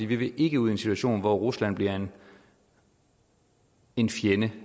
vil ikke ud i en situation hvor rusland bliver en fjende